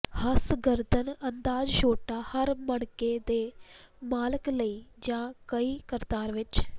ਹੰਸ ਗਰਦਨ ਆਦਰਸ਼ ਛੋਟਾ ਹਾਰ ਮਣਕੇ ਦੇ ਮਾਲਕ ਲਈ ਜ ਕਈ ਕਤਾਰ ਵਿੱਚ